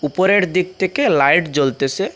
উপরের দিক থেকে লাইট জ্বলতেসে।